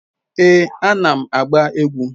Ee, anam agba egwu